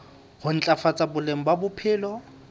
ho ntlafatsa boleng ba bophelo